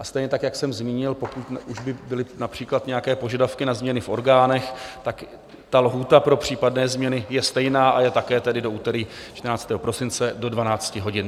A stejně tak, jak jsem zmínil, pokud už by byly například nějaké požadavky na změny v orgánech, tak ta lhůta pro případné změny je stejná, a je také tedy do úterý 14. prosince do 12 hodin.